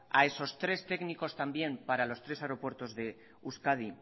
a esos tres técnicos también para los tres aeropuertos de euskadi